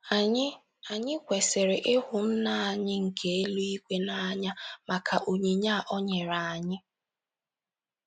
Anyị Anyị kwesịrị ịhụ Nna anyị nke eluigwe n’anya maka onyinye a o nyere anyị.